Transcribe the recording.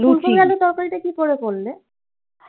ফুলকপি আলুর তরকারি টা কি করে করলে?